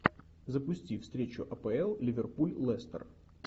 запусти встречу апл ливерпуль лестер